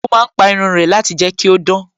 Ó má ń pa irun rẹ̀ láti jẹ́ kí ó dán